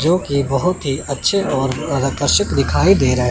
जोकि बहोत ही अच्छे और आकर्षिक दिखाई दे रहा--